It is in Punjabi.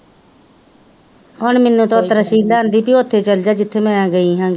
ਹੁਣ ਮੈਂਨੂੰ ਤਾਂ ਤਰਸੀ ਆਂਦੀ ਭੇਈ ਓਥੇ ਚੱਲ ਜਾ ਜਿੱਥੇ ਮੈ ਗਈ ਹਾਂ ਗੀ,